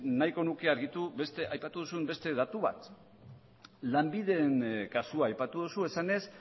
nahiko nuke argitu aipatu duzun beste datu bat lanbideren kasua aipatu duzu esanez